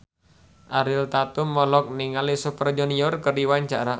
Ariel Tatum olohok ningali Super Junior keur diwawancara